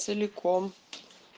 целиком